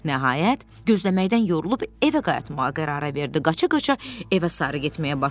Nəhayət, gözləməkdən yorulub evə qayıtmağa qərara verdi, qaça-qaça evə sarı getməyə başladı.